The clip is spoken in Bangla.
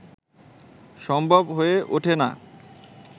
সম্ভব হয়ে ওঠে না